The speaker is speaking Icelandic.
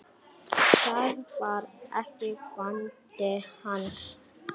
Það var ekki vandi hans.